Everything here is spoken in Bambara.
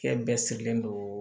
Fɛn bɛɛ sigilen don